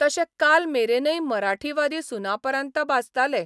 तशे कालमेरेनय मराठीवादी सुनापरान्त बाचताले.